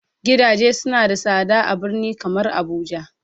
gidaje suna da sada a birni kamar abuja.